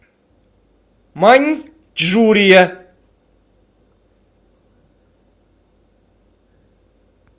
маньчжурия